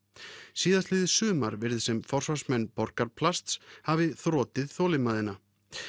síðastliðið sumar virðist sem forsvarsmenn Borgarplasts hafi þrotið þolinmæðina